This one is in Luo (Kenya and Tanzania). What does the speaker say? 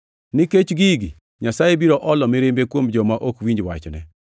Nikech gigi, Nyasaye biro olo mirimbe kuom joma ok winj wachne.